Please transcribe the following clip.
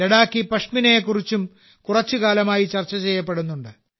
ലഡാക്കി പഷ്മിനയെ കുറിച്ചും കുറച്ചു കാലമായി ചർച്ച ചെയ്യപ്പെടുന്നുണ്ട്